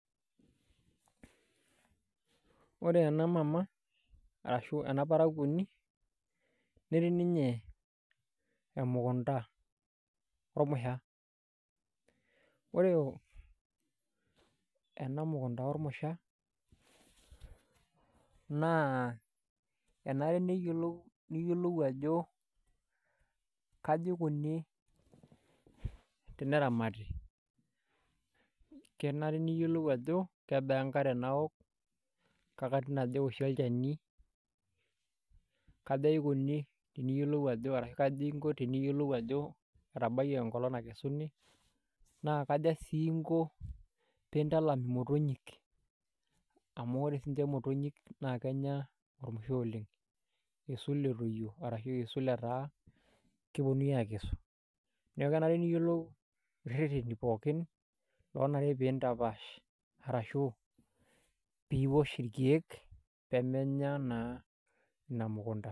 Ore ena mama arashu ena parakuoni netii ninye emukunta ormusha ore ena mukunta ormusha enare niyiolou ajo kaja ikuni teneramatai kenare niyiolou ajo kebaa enkare naaok kekatitin aja ewoshi olchani kaja inko teniyiolou ajo etabayie enkolong' nakesuni naa kaja sii inko pee intalam imotonyik amu ore siinche imotonyik naa kenya ormusha oleng' iisul etoyio ashu etaa keponunui aakesu neeku kenare niyiolou irrereni pookin arashu piiosh irkeek pee menya naa ina mukunta.